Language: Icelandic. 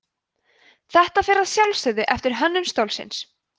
þetta fer að sjálfsögðu eftir hönnun stólsins